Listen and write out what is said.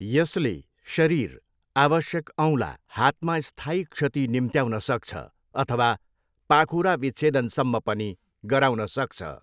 यसले शरीर, आवश्यक औँला, हातमा स्थायी क्षति निम्त्याउन सक्छ, अथवा पाखुरा विच्छेदनसम्म पनि गराउन सक्छ।